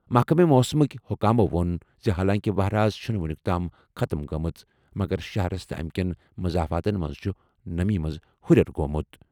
محکمہٕ موسمٕکۍ حکامَو ووٚن زِ حالانٛکہِ وَہرٲژ چھُنہٕ وُنیُک تام ختٕم گٔمٕژ، مگر شہرَس تہٕ اَمہِ کٮ۪ن مضافاتَن منٛز چھُ نمی منٛز ہُرٮ۪ر گوٚمُت۔